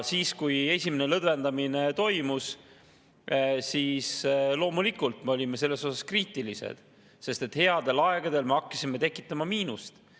Kui esimene lõdvendamine toimus, siis loomulikult me olime selle suhtes kriitilised, sest headel aegadel me hakkasime tekitama miinust.